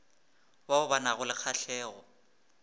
bao ba nago le kgahlego